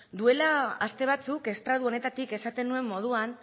duela aste batzuk estratu honetatik esaten nuen moduan